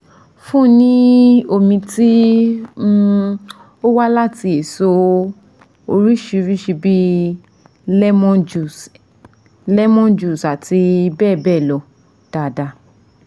fun ni omi ti um owa lati eso oridirisi bi lemon juice lemon juice ati beebeelo daadaa